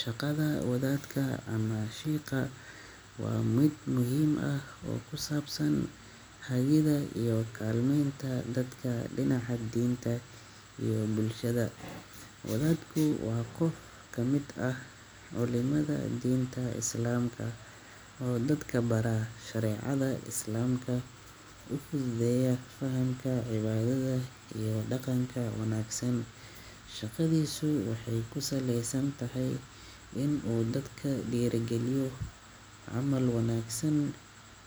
Shaqada wadadka ama sheikha waa mid muhiim ah oo ku saabsan hagidda iyo kaalmeynta dadka dhinaca diinta iyo bulshada. Wadadku waa qof ka mid ah culimada diinta islaamka oo dadka bara shareecada islaamka, u fududeeya fahamka cibaadada iyo dhaqanka wanaagsan. Shaqadiisu waxay ku saleysan tahay inuu dadka ku dhiirrigeliyo camal wanaagsan,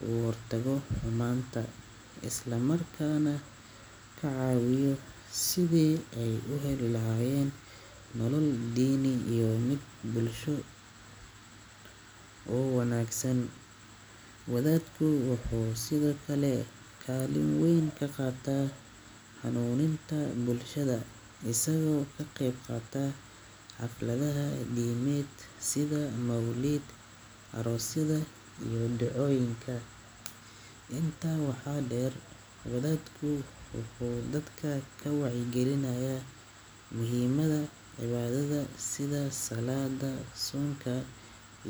ka hortago xumaanta, isla markaana ka caawiyo sidii ay u heli lahaayeen nolol diini iyo mid bulsho oo wanaagsan. Wadadku wuxuu sidoo kale kaalin weyn ka qaataa hanuuninta bulshada, isagoo ka qayb qaata xafladaha diimeed sida mawlid, aroosyada, iyo ducooyinka. Intaa waxaa dheer, wadadku wuxuu dadka ka wacyigeliyaa muhiimadda cibaadada sida salaadda, soonka,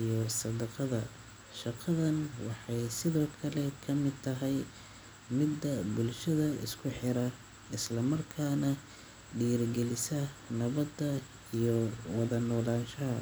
iyo sadaqada. Shaqadan waxay sidoo kale ka mid tahay midda bulshada isku xira, isla markaana dhiirrigelisa nabadda iyo wada noolaanshaha.